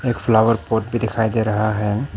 एक flower pot भी दिखाई दे रहा है।